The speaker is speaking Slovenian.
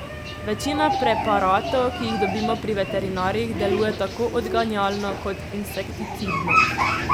Večina preparatov, ki jih dobimo pri veterinarjih, deluje tako odganjalno kot insekticidno.